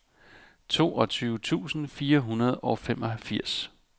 toogtyve tusind fire hundrede og femogfirs